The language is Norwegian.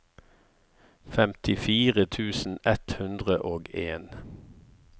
femtifire tusen ett hundre og en